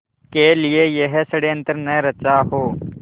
के लिए यह षड़यंत्र न रचा हो